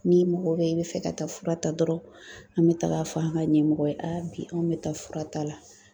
N'i mɔgɔ bɛ i bɛ fɛ ka taa fura ta dɔrɔnw, an bɛ taga fɔ an ka ɲɛmɔgɔ ye, bi , anw bɛ taa fura ta la.